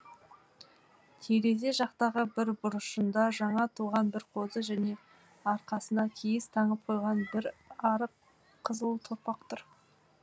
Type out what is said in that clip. терезе жақтағы бір бұрышында жаңа туған бір қозы және арқасына киіз таңып қойған бір арық қызыл торпақ тұр